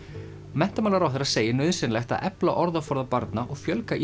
menntamálaráðherra segir nauðsynlegt að efla orðaforða barna og fjölga